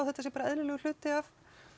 þetta sé bara eðlilegur hluti af